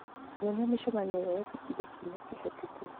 nyonia mĩcemanio ĩrĩa yekĩkire kiumia kĩhĩtũku